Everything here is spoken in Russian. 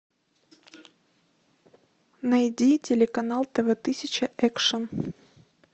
найди телеканал тв тысяча экшен